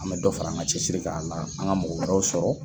An bɛ dɔ fara an ka cɛsiri k'a la an ka mɔgɔ wɛrɛw sɔrɔ.